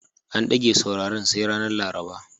An ɗage sauraren sai ranar Laraba.